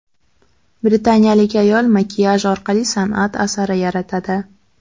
Britaniyalik ayol makiyaj orqali san’at asari yaratadi .